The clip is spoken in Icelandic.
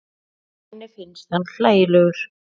Henni finnst hann hlægilegur.